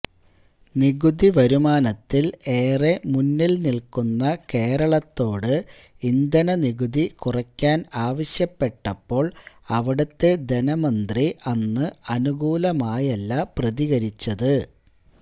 നികുതി വരുമാനത്തിൽ ഏറെ മുന്നിൽ നിൽക്കുന്ന കേരളത്തോട് ഇന്ധനനികുതി കുറയ്ക്കാൻ ആവശ്യപ്പെട്ടപ്പോൾ അവിടുത്തെ ധനമന്ത്രി അന്ന് അനുകൂലമായല്ല പ്രതികരിച്ചത്